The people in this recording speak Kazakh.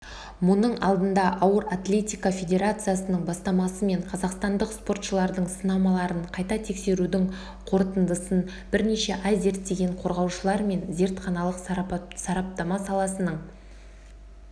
мұның алдында ауыр атлетика федерациясының бастамасымен қазақстандық спортшылардың сынамаларын қайта тексерудің қорытындысын бірнеше ай зерттеген қорғаушылар мен зертханалық сарапатама саласының